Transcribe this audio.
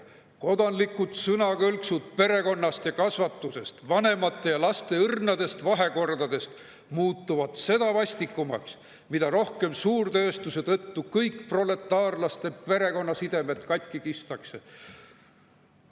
Kodanlikud sõnakõlksud perekonnast ja kasvatusest, vanemate ja laste õrnadest vahekordadest muutuvad seda vastikumaks, mida rohkem suurtööstuse tõttu kõik proletaarlaste perekonnasidemed katki kistakse.